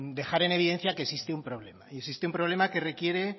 dejar en evidencia que existe un problema existe un problema que requiere